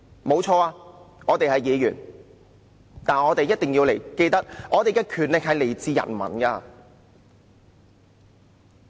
誠然，我們是議員，但我們一定要記得我們的權力來自人民。